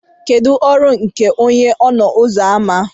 kedu ọrụ nke onye ọnụ ụzọ ámá